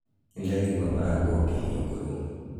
Nĩndaigua mũrango ũkĩhingũrwo.